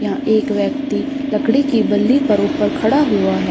यहां एक व्यक्ति लकड़ी के बल्ले पर ऊपर खड़ा हुआ है।